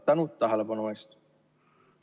Tänan tähelepanu eest!